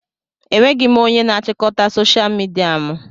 Enweghị m onye na-achịkọta soshal midia mụ